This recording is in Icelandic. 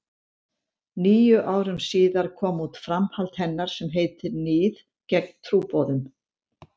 Níu árum síðar kom út framhald hennar sem heitir Níð gegn trúboðum.